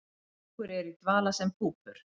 Nokkur eru í dvala sem púpur.